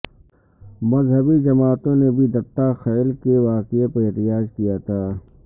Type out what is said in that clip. مذہبی جماعتوں نے بھی دتہ خیل کے واقعے پر احتجاج کیا تھا